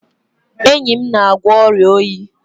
Enyi m na-agwọ ọrịa oyi